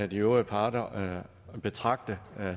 de øvrige parter betragte